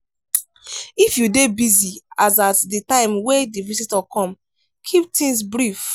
if you dey busy as at di time wey di visitor come keep things brief